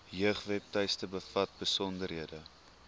jeugwebtuiste bevat besonderhede